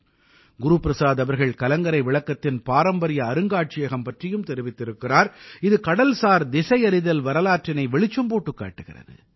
குரு பிரசாத் அவர்கள் கலங்கரை விளக்கத்தின் பாரம்பரிய அருங்காட்சியகம் பற்றியும் தெரிவித்திருக்கிறார் இது கடல்சார் திசையறிதல் வரலாற்றினை வெளிச்சம் போட்டுக் காட்டுகிறது